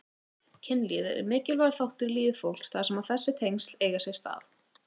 Kynlíf er einn mikilvægur þáttur í lífi fólks þar sem þessi tengsl eiga sér stað.